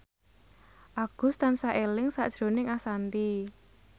Agus tansah eling sakjroning Ashanti